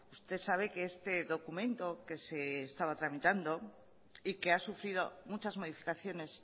usted sabe que este documento que se estaba tramitando y que ha sufrido muchas modificaciones